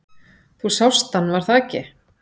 Þú sást hann, var það ekki?